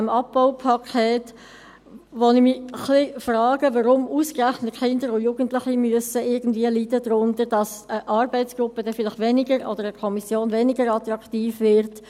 Ich frage mich, warum ausgerechnet Kinder und Jugendliche darunter leiden müssen, dass eine Arbeitsgruppe oder eine Kommission weniger attraktiv wird.